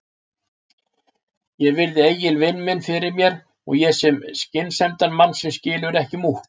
Ég virði Egil vin minn fyrir mér og ég sé skynsemdarmann sem skilur ekki múkk.